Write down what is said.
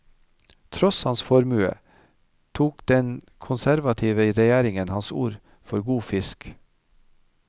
Tross hans formue, tok ikke den konservative regjeringen hans ord for god fisk.